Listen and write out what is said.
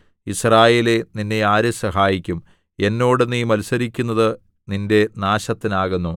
യിസ്രായേലേ നിന്നെ ആര് സഹായിക്കും എന്നോട് നീ മത്സരിയ്ക്കുന്നത് നിന്റെ നാശത്തിനാകുന്നു